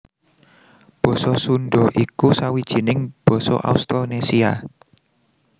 Basa Sundha iku sawijining basa Austronésia